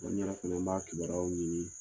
N yɛrɛ fɛnɛ, n b'a kibaruyaw ɲini